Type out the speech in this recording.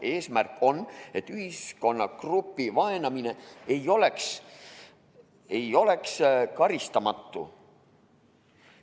Eesmärk on, et ühiskonnagrupi vaenamine ei oleks karistamatu.